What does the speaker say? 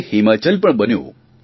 હવે હિમાચલ પણ બન્યું